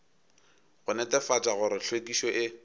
go netefatša gore hlwekišo e